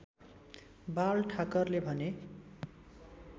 बाल ठाकरेले भने